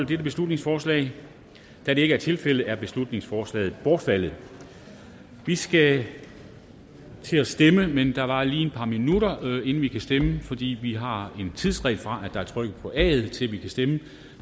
dette beslutningsforslag da det ikke er tilfældet er beslutningsforslaget bortfaldet vi skal til at stemme men det varer lige et par minutter inden vi kan stemme fordi vi har en tidsfrist fra der er trykket på aet til vi kan stemme